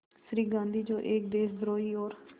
श्री गांधी जो एक देशद्रोही और